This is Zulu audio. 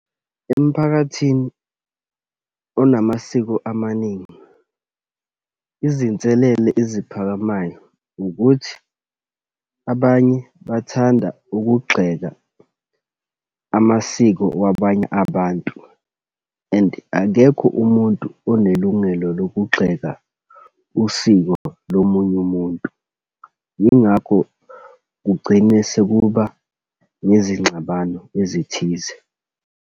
Emphakathini onamasiko amaningi, izinselele eziphakamayo ukuthi abanye bathanda ukugxeka amasiko wabanye abantu. And akekho umuntu onelungelo lokugxeka usiko lomunye umuntu. Yingakho kugcine sekuba nezingxabano ezithize.